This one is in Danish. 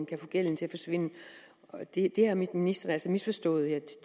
kan få gælden til at forsvinde og det har ministeren altså misforstået det